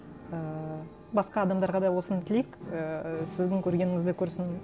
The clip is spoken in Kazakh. ііі басқа адамдарға да осыны тілейік ііі сіздің көргеніңізді көрсін